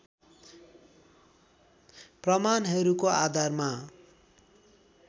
प्रमाणहरूका आधारमा